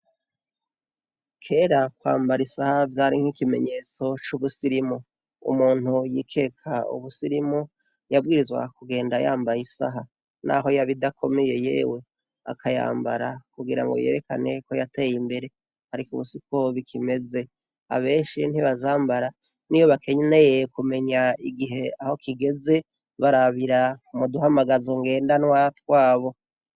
Kera kwambara isaha vyari nko ikimenyetso c'ubusirimu umuntu yikeka ubusirimu yabwirizwa kugenda yambaye isaha, naho yabidakomeye yewe akayambara kugira ngo yerekane ko yateye imbere, ariko ubusikoba ikimeze abenshi ntibazambara ni boa kenyene yeye kumenya igihe aho kigeze barabira umuduhamagazo ngendanwa twabo.